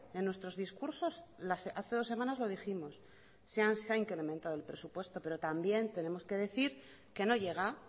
en nuestros discursos hace dos semanas lo dijimos se ha incrementado el presupuesto pero también tenemos que decir que no llega